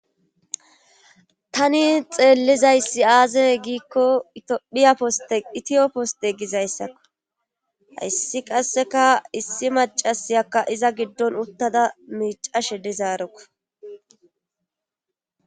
tani xeellizayssi aaze giikko phiya ositiyo poste gizayssakko hayssi qasseka issi macasiyakka iza giddon uttada miicashe dizaarekko